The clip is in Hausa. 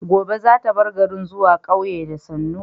Gobe za ta bar garin zuwa ƙauye da sannu